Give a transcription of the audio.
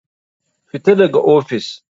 Fita daga ofis.